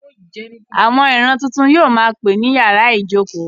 Àwọn ìran tuntun yìí yóò ma pè ní yàrá ìjókòó.